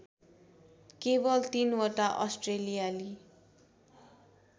केवल तीनवटा अस्ट्रेलियाली